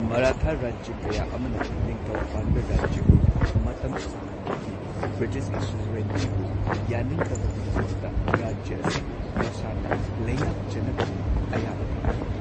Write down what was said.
ꯃꯔꯥꯊꯥ ꯔꯥꯖ꯭ꯌ ꯀꯌꯥ ꯑꯃꯅ ꯅꯤꯡꯊꯧ ꯄꯥꯟꯕ ꯔꯥꯖ꯭ꯌ ꯑꯣꯏꯅ ꯃꯇꯝ ꯁꯥꯡꯅ ꯂꯩꯈꯤ, ꯕ꯭ꯔꯤꯇꯤꯁꯀꯤ ꯁꯨꯖꯔꯦꯟꯇꯤꯕꯨ ꯌꯥꯅꯤꯡꯗꯕꯒꯤꯗꯃꯛꯇ ꯔꯥꯖ꯭ꯌ ꯑꯁꯤꯕꯨ ꯃꯁꯥꯅ ꯂꯩꯉꯥꯛꯆꯅꯕꯒꯤ ꯑꯌꯥꯕ ꯊꯝꯈꯤ꯫